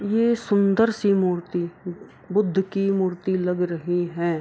ये सूंदर सी मूर्ति बुद्ध की मूर्ति लग रही है |